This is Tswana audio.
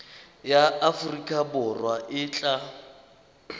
ya aforika borwa e tla